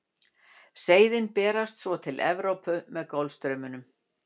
Seiðin berast svo til Evrópu með Golfstraumnum.